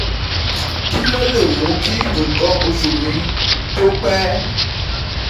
Kí ló lè mú kí nkan osu mi tó pẹ́?